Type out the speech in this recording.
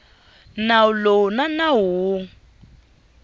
nawu lowu na nawu wun